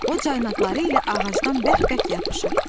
O caynaqları ilə ağacdan bərk-bərk yapışır.